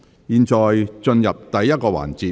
現在進入第1個環節。